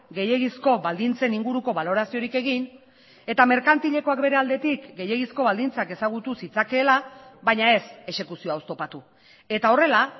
gehiegizko baldintzen inguruko baloraziorik egin eta merkantilekoak bere aldetik gehiegizko baldintzak ezagutu zitzakeela baina ez exekuzioa oztopatu eta horrela